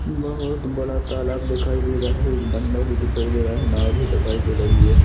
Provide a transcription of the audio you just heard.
बहुत बड़ा तालाब दिखाई दे रहा है एक बन्दा भी दिखाई दे रहा है नाँव भी दिखाई दे रही है।